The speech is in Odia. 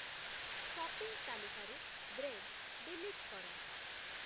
ସପିଂ ତାଲିକାରୁ ବ୍ରେଡ଼୍ ଡିଲିଟ୍ କର